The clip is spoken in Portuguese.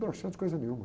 Broxante coisa nenhuma.